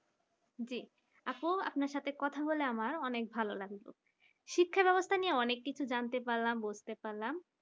জি আপু আপনার সাথে কথা বলে আমার অনেক ভালো লাগলো শিক্ষা ব্যবস্থা নিয়ে অনেক কিছু জানতে পারলাম বুঝতে পারলাম